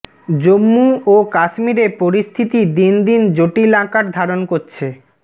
জম্মু ও কাশ্মীরে পরিস্থিতি দিন দিন জটিল আকার ধারণ করছে